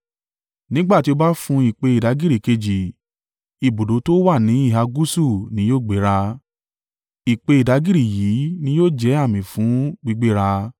Nígbà tí o bá fun ìpè ìdágìrì kejì, ibùdó tó wà ní ìhà gúúsù ni yóò gbéra. Ìpè ìdágìrì yìí ni yóò jẹ́ àmì fún gbígbéra.